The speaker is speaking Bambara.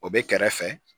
O bɛ kɛrɛfɛ